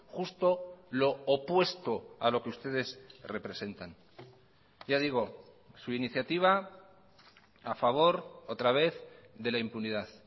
justo lo opuesto a lo que ustedes representan ya digo su iniciativa a favor otra vez de la impunidad